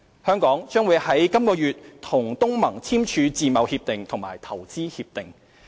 香港將於本月與東盟簽署自貿協定及投資協定。